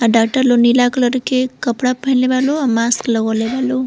आ डॉक्टर लोग नीला कलर के कपड़ा पहिनले बा लो। आ मास्क लगौले बा लो।